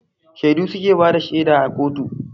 Shaidu suke bada shaida a kotu